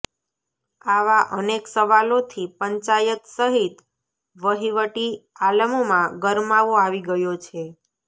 આવા અનેક સવાલોથી પંચાયત સહિત વહીવટી આલમમાં ગરમાવો આવી ગયો છે